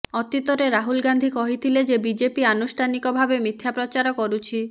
ଅତୀତରେ ରାହୁଲ ଗାନ୍ଧୀ କହିଥିଲେ ଯେ ବିଜେପି ଆନୁଷ୍ଠାନିକ ଭାବେ ମିଥ୍ୟା ପ୍ରଚାର କରୁଛି